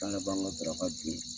K'ale b'an ka daraka di.